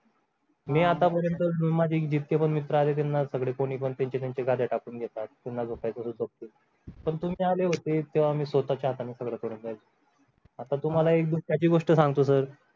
मी आतापर्यंत room मध्ये जितके पण मित्र आले त्यांना सगळे कोणी पण त्यांच्या त्यांच्या गाड्या टाकून देतात त्यांना ते बागतील पण तुम्ही आले होते तेव्हा मी स्वतःच्या हाताने सगळं करून घ्यायचं आता तुम्हाला एक दुःखाची गोष्ट सांगतो sir